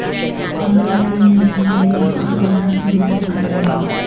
عورت ہی نے جنم دیا اور عورت ہونا سکھلایا